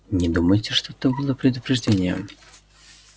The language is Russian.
не думаете что это было предупреждением